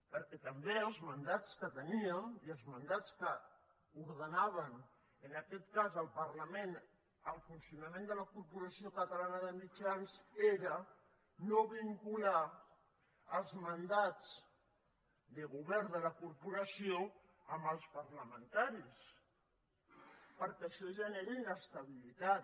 perquè també els mandats que teníem i els mandats que ordenaven en aquest cas al parlament el funcionament de la corporació catalana de mitjans era no vincular els mandats de govern de la corporació amb els parlamentaris perquè això genera inestabilitat